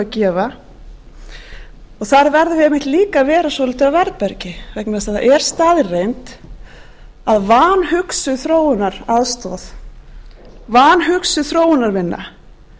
þar verðum við einmitt líka að vera svolítið á varðbergi vegna þess að það er staðreynd að vanhugsuð þróunaraðstoð vanhugsuð þróunarvinna